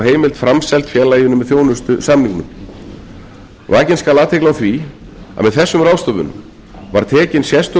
heimild framseld félaginu með þjónustusamningnum vakin skal athygli á því að með þessum ráðstöfunum var tekin sérstök